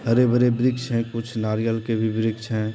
हरे-भरे वृक्ष है कुछ नारियल के भी वृक्ष है।